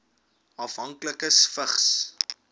afhanklikes vigs